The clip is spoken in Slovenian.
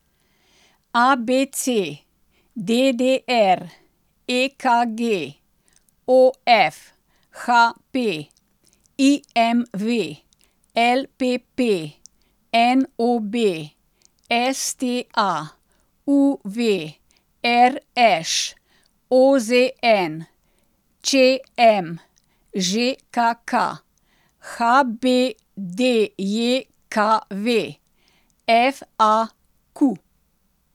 A B C; D D R; E K G; O F; H P; I M V; L P P; N O B; S T A; U V; R Š; O Z N; Č M; Ž K K; H B D J K V; F A Q.